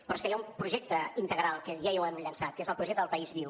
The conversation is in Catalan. però és que hi ha un projecte integral que ja l’hem llençat que és el projecte de país viu